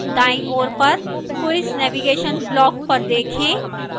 दाईं ओर पर quiz navigation block पर देखें